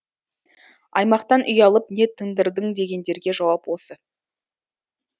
аймақтан үй алып не тындырдың дегендерге жауап осы